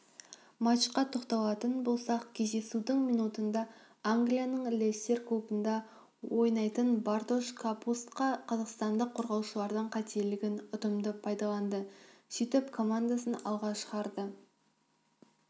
матчқа тоқталатын болсақ кездесудің минутында англияның лестер клубында ойнайтынбартош капустка қазақстандық қорғаушылардың қателігін ұтымды пайдаланды сөйтіп командасын алға шығарды